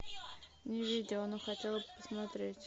не видела но хотела бы посмотреть